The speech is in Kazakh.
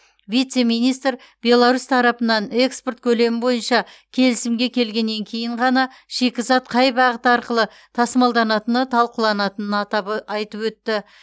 вице министр беларусь тарапынан экспорт көлемі бойынша келісімге келгеннен кейін ғана шикізат қай бағыт арқылы тасымалданатыны талқыланатынын айтып өтті